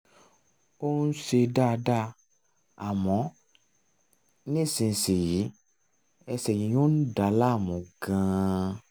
ó ń um ṣe dáadáa àmọ́ nísinsìnyí ẹsẹ̀ yíyún ń dà á láàmú gan-an